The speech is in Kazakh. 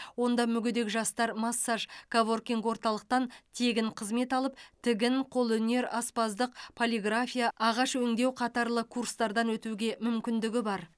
онда мүгедек жастар массаж коворкинг орталықтан тегін қызмет алып тігін қолөнер аспаздық полиграфия ағаш өңдеу қатарлы курстардан өтуге мүмкіндігі бар